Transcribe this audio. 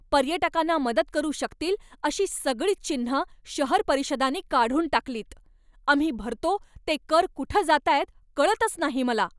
पर्यटकांना मदत करू शकतील अशी सगळीच चिन्हं शहर परिषदांनी काढून टाकलीत. आम्ही भरतो ते कर कुठं जातायत कळतच नाही मला.